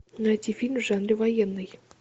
найти фильм в жанре военный